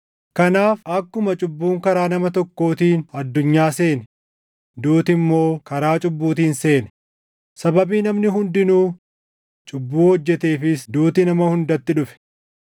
Kanaaf akkuma cubbuun karaa nama tokkootiin addunyaa seene, duuti immoo karaa cubbuutiin seene; sababii namni hundinuu cubbuu hojjeteefis duuti nama hundatti dhufe.